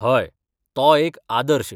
हय, तो एकआदर्श.